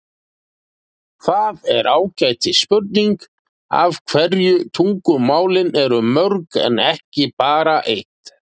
Það er ágætis spurning af hverju tungumálin eru mörg en ekki bara eitt.